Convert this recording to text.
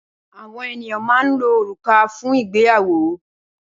Awòn éniyàn mà n ló órúkà fún igbéyàwó